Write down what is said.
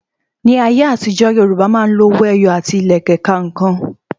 Ní ayé àtijó, Yorùbá máa ń lo owó ẹyọ àti Ìlẹ̀kẹ̀ ka ǹkan